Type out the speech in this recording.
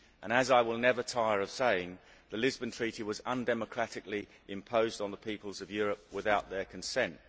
As I will never tire of saying, the Lisbon Treaty was undemocratically imposed on the peoples of Europe without their consent.